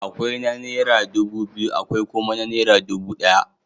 Akwai na naira dubu biyu, akwai kuma na naira dubu ɗaya.